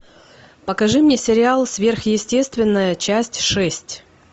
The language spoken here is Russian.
покажи мне сериал сверхъестественное часть шесть